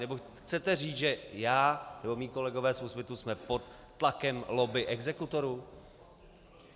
Nebo chcete říct, že já nebo mí kolegové z Úsvitu jsme pod tlakem lobby exekutorů?